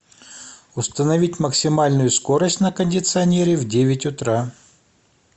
установить максимальную скорость на кондиционере в девять утра